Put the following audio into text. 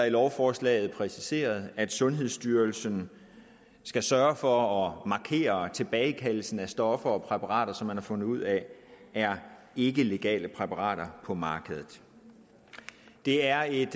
i lovforslaget præciseret at sundhedsstyrelsen skal sørge for at markere tilbagekaldelsen af stoffer og præparater som man har fundet ud af er ikkelegale præparater på markedet det er et